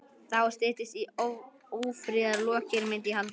Þá styttist í ófriðarlokin, myndi ég halda.